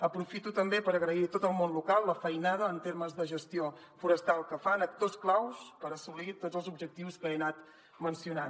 aprofito també per agrair a tot el món local la feinada en termes de gestió forestal que fan actors claus per assolir tots els objectius que he anat mencionant